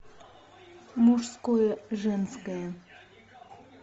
мужское женское